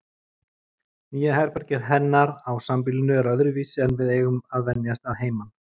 Nýja herbergið hennar á sambýlinu er öðruvísi en við eigum að venjast að heiman.